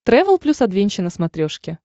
трэвел плюс адвенча на смотрешке